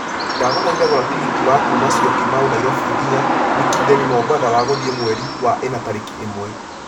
ndagũthaitha gũra tigiti wa kuuma syokimau Nairobi nginya mikindani mombatha wa gũthiĩ mweri wa ĩna tarĩki ĩmwe